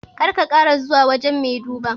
Kar ka kara zuwa wajan mai duba